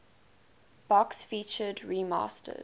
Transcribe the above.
box featured remastered